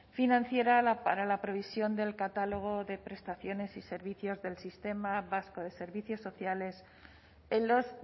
financiera para la provisión del catálogo de prestaciones y servicios del sistema vasco de servicios sociales en los